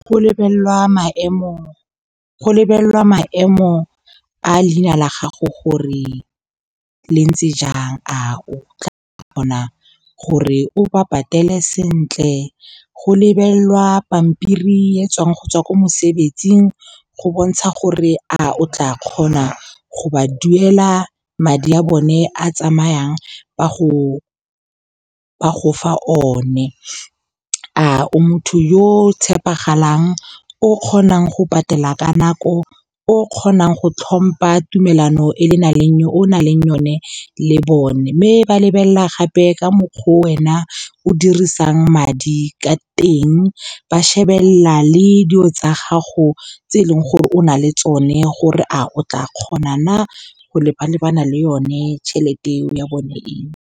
Go lebellwa maemo a leina la gago gore le ntse jang, a o tla kgona gore o ba patele sentle. Go lebelelwa pampiri e tswang go tswa kwa mosebetsing go bontsha gore a o tla kgona go ba duela madi a bone a tsamayang ba go fa o ne. A o motho yo o tshepegalang, o kgonang go patela ka nako, o kgonang go tlhompha tumelano e o nang le yone le bone. Mme ba lebelela gape ka mokgwa wena o dirisang madi ka teng. Ba shebelela le dilo tsa gago tse eleng gore o na le tsone gore a o tla kgona go leba-lebana le yone tšhelete eo ya bone eo.